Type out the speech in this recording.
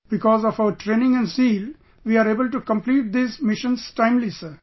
Because of our training and zeal, we were able to complete these missions timely sir